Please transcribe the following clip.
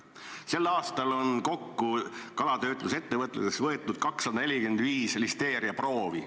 Sel aastal on kalatöötlusettevõtluses võetud kokku 245 listeeriaproovi.